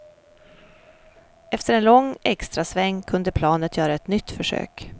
Efter en lång extrasväng kunde planet göra ett nytt försök.